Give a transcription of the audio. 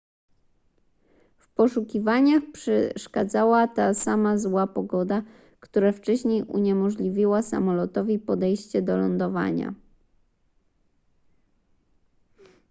w poszukiwaniach przeszkadzała ta sama zła pogoda która wcześniej uniemożliwiła samolotowi podejście do lądowania